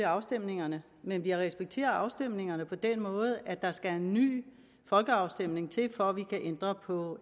afstemningerne men vi respekterer afstemningerne på den måde at der skal en ny folkeafstemning til for at vi kan ændre på